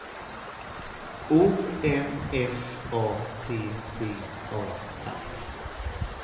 O M F A T T A R